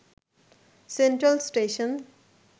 central station